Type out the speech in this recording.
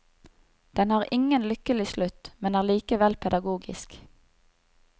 Den har ingen lykkelig slutt, men er likevel pedagogisk.